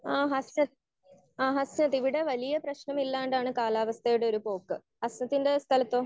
Speaker 1 ആഹ് ഹസനത് ആഹ് ഹസനത് ഇവിടെ വല്യേ പ്രശ്നമില്ലാണ്ടാണ് കാലാവസ്ഥയുടെ ഒരു പോക്ക്. ഹസനത് സ്ഥലത്തോ?